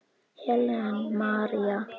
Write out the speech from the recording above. Helen María.